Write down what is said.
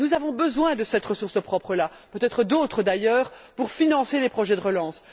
Nous avons besoin de cette ressource propre, et peut être d'autres, d'ailleurs, pour financer les projets de relance.